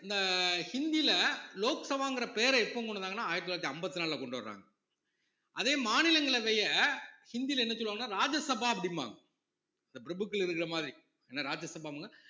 இந்த ஹிந்தியில லோக் சபாங்கிற பேரை எப்ப கொண்டு வந்தாங்கன்னா ஆயிரத்தி தொள்ளாயிரத்தி அம்பத்தி நாலுல கொண்டு வர்றாங்க அதே மாநிலங்களவைய ஹிந்தில என்ன சொல்லுவாங்கன்னா ராஜ்யசபா அப்படிம்பாங்க இந்த பிரபுக்கள் இருக்கிற மாதிரி ஏன்னா ராஜ்யசபா